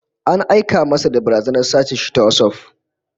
An aika masa da barazanar sace shi ta WhatsApp